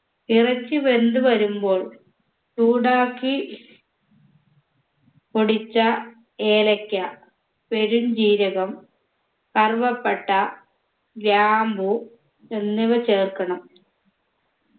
ഇറച്ചി വെന്തു വരുമ്പോൾ ചൂടാക്കി പൊടിച്ച ഏലക്ക പെരും ജീരകം കറുവപ്പട്ട ഗ്രാമ്പൂ എന്നിവ ചേർക്കണം